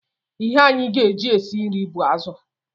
Ihe anyị ga-eji e si nri bụ azụ